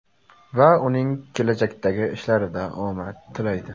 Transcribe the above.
Va unga kelajakdagi ishlarida omad tilaydi.